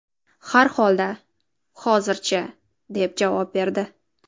Har holda, hozircha”, deb javob berdi.